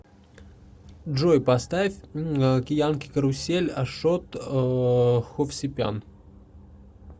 джой поставь киянки карусель ашот ховсепян